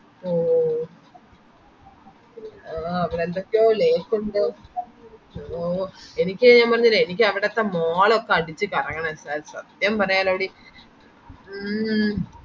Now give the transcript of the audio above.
ഓ ഓ ആഹ് അവടെ എന്തൊക്കെയോ lake ഒണ്ടോ ഓ എനിക്ക് ഞാൻ പറഞ്ഞില്ലേ എനിക്കവിടത്തെ mall ഒക്കെ അടിച്ചു കറങ്ങണം സ സത്യം പറയലോടി മ്മ്